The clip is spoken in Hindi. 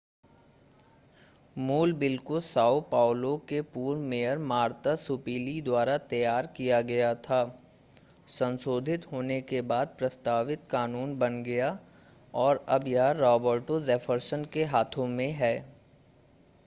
मूल बिल को साओ पाउलो के पूर्व मेयर मार्ता सुपीली द्वारा तैयार किया गया था संशोधित होने के बाद प्रस्तावित कानून बन गया और अब यह रॉबर्टो जेफरसन के हाथों में है